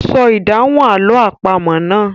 Sọ ìdáhùn àlọ́ àpamọ̀ náà.